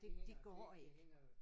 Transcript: Det det går ikke